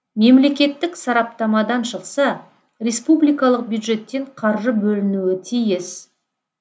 мемлекеттік сараптамадан шықса республикалық бюджеттен қаржы бөлінуі тиіс